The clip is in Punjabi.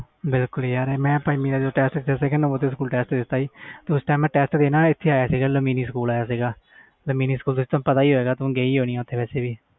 ਬਿਲਕੁਲ ਯਾਰ ਮੈਂ ਪੰਜਵੀ ਦਾ ਟੈਸਟ ਦਿੱਤੋ ਸੀ ਉਸ ਟੈਸਟ ਦੇਣ ਆ ਸੀ mini ਸਕੂਲ ਦਾ ਪਤਾ ਹੋਣਾ ਗਈ ਹੋਣੀ ਤੂੰ ਓਥੇ